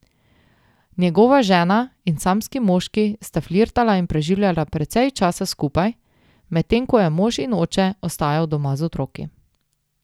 Njegova žena in samski moški sta flirtala in preživljala precej časa skupaj, medtem ko je mož in oče ostajal doma z otroki.